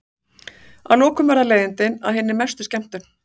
Að lokum verða leiðindin að hinni mestu skemmtun.